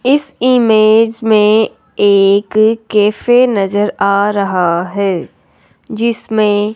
इस इमेज मे एक कैफे नज़र आ रहा है जिसमे --